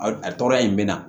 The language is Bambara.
A tɔɔrɔya in bɛ na